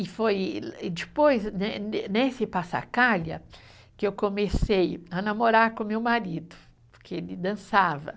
E foi e e depois, né nesse, que eu comecei a namorar com o meu marido, porque ele dançava.